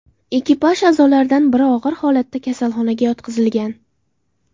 Ekipaj a’zolaridan biri og‘ir holatda kasalxonaga yotqizilgan.